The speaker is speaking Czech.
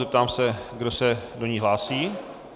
Zeptám se, kdo se do ní hlásí.